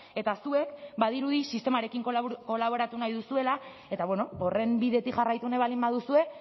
eta zuek badirudi sistemarekin kolaboratu nahi duzuela eta horren bidetik jarraitu nahi baldin baduzue